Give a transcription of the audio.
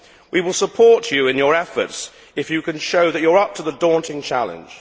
We will support you in your efforts if you can show that you are up to the daunting challenge.